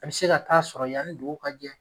A bɛ se ka t'a sɔrɔ yani dugu ka jɛ.